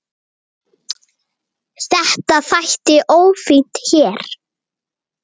Þetta þætti ófínt hér.